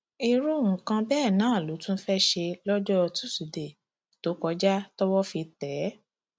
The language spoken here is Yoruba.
irú nǹkan bẹẹ náà ló tún fẹẹ ṣe lọjọ tusidee tó kọjá tọwọ fi tẹ ẹ